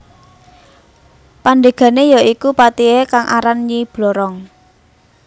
Pandegane ya iku patihe kang aran Nyi Blorong